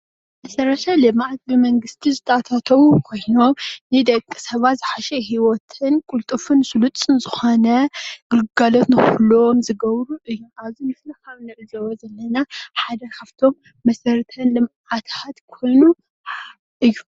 መሰረተ ልምዓት ብመንግስቲ ዝተኣታተው ኮይኖም ንደቂ ሰብ ዝሓሸ ሂወትን ቅልጡፍን ስልጡን ዝኮነ ግልጋሎት ንክህልዎ ዝገብሩ እዮም፡፡ ኣብዚ ምስሊ ካብ እንዕዘቦ ዘለና ሓደ ካብቶም መሰረተ ልምዓታት ኮይኑ እዩ፡፡